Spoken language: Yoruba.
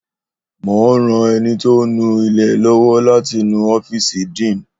Mò ń ran ẹni tó ń nu ilẹ̀ lọ́wọ́ láti nu ọ́fíìsì dean